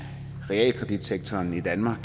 realkreditsektoren i danmark